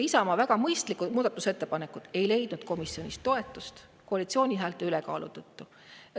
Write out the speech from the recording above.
Isamaa väga mõistlikud muudatusettepanekud ei leidnud komisjonis toetust koalitsiooni häälte ülekaalu tõttu.